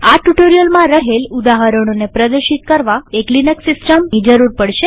આ ટ્યુ્ટોરીઅલમાં રહેલ ઉદાહરણોને પ્રદર્શિત કરવા એક લિનક્સ સિસ્ટમની જરૂર પડશે